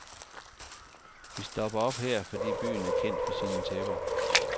Vi stopper op her, fordi byen er kendt for sine tæpper.